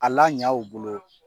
A laɲa u bolo